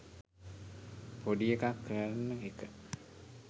පොඩි එකක් කරන එක.